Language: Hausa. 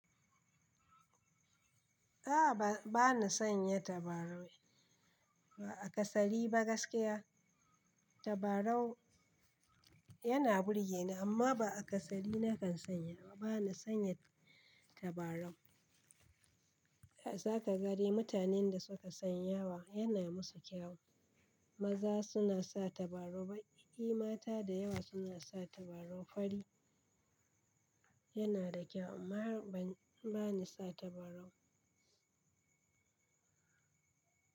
A'a ba, bana sanya tabarau ba a kasali ba gaskiya. Tabarau yana burge ni amma ba a kasali na kan sanya ba. Bana sanya tabarau. A zaka gari mutanen da suka sanya wa yana musu kyau. Maza suna sa tabarau baƙi, mata da yawa suna sa tabarau fari. Yana da kyau amma ban, bani sa tabarau.